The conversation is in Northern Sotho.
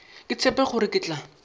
ke tshepe gore ke tla